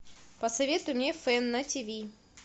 посоветуй мне фэн на тв